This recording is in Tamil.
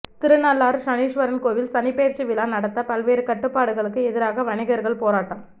திருநள்ளாறு சன்னீஸ்வரன் கோவில் சனிப்பெயர்ச்சி விழா நடத்த பல்வேறு கட்டுப்பாடுகளுக்கு எதிராக வணிகர்கள் போராட்டம்